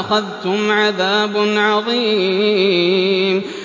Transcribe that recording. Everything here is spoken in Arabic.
أَخَذْتُمْ عَذَابٌ عَظِيمٌ